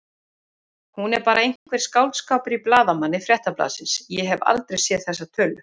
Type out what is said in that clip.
Hún er bara einhver skáldskapur í blaðamanni Fréttablaðsins, ég hef aldrei séð þessa tölu.